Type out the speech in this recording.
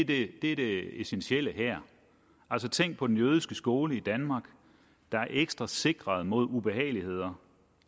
det er det essentielle her tænk på den jødiske skole i danmark der er ekstra sikret mod ubehageligheder